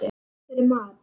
Og sans fyrir mat.